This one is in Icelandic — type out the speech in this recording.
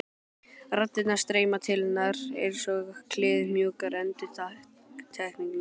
Raddirnar streyma til hennar einsog kliðmjúkar endurtekningar.